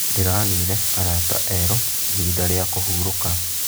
Ndĩragĩire arata erũ ihinda rĩa kũhurũka.